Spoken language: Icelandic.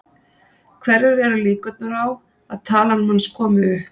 Hverjar eru líkurnar á að talan manns komi upp?